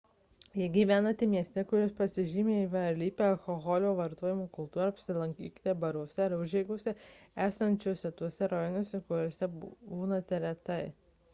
jei gyvenate mieste kuris pažymi įvairialype alkoholio vartojimo kultūra apsilankykite baruose ar užeigose esančiose tuose rajonuose kūriuose būnate retai